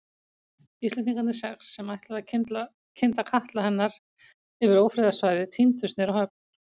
Íslendingarnir sex, sem ætluðu að kynda katla hennar yfir ófriðarsvæðið tíndust niður á höfn.